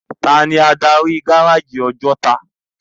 Táni ádári gáráji Òjòtá?